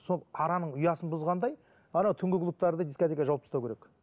сол араның ұясын бұзғандай ана түнгі клубтарды дискотека жауып тастау керек